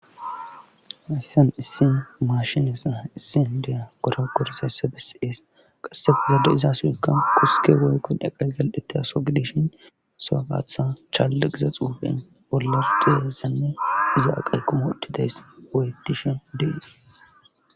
ayssen issin maashinessa issindiya goro korisayssa bisees qasse fogade izaasoykka qusike rooykkon eqays dal7eteasogideshin soagatha challa giza xuufe bollarduheressanne iza aqay kumoohtidays woyetishe deise